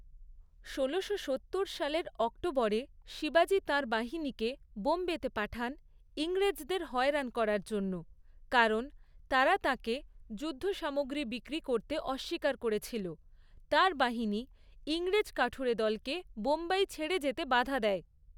ষোলোশো সত্তর সালের অক্টোবরে শিবাজি তাঁর বাহিনীকে বোম্বেতে পাঠান ইংরেজদের হয়রান করার জন্য কারণ তারা তাঁকে যুদ্ধসামগ্রী বিক্রি করতে অস্বীকার করেছিল, তাঁর বাহিনী ইংরেজ কাঠুরে দলকে বোম্বাই ছেড়ে যেতে বাধা দেয়।